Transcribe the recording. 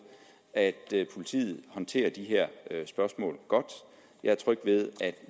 at politiet håndterer de her spørgsmål godt jeg er tryg ved at